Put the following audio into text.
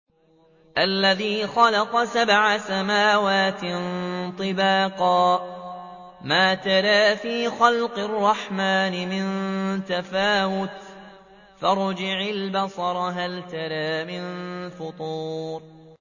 الَّذِي خَلَقَ سَبْعَ سَمَاوَاتٍ طِبَاقًا ۖ مَّا تَرَىٰ فِي خَلْقِ الرَّحْمَٰنِ مِن تَفَاوُتٍ ۖ فَارْجِعِ الْبَصَرَ هَلْ تَرَىٰ مِن فُطُورٍ